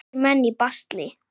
Ungir menn í basli.